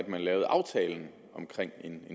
man lavede aftalen om